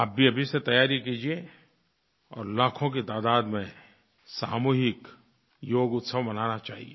आप भी अभी से तैयारी कीजिए और लाखों की तादाद में सामूहिक योग उत्सव मनाना चाहिए